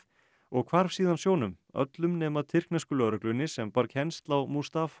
og hvarf síðan sjónum öllum nema tyrknesku lögreglunni sem bar kennsl á